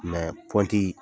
pɔnti